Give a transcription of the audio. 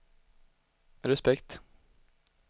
respekt